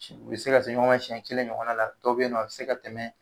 U bɛ se ka se ɲɔgɔn ma siyɛn kelen ɲɔgɔn na la dɔw bɛ ye nɔ a bɛ se ka tɛmɛ.